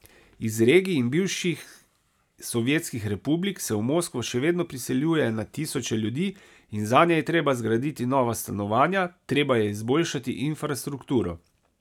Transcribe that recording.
Iz regij in bivših sovjetskih republik se v Moskvo še vedno priseljuje na tisoče ljudi in zanje je treba zgraditi nova stanovanja, treba je izboljšati infrastrukturo ...